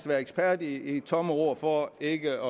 være ekspert i tomme ord for ikke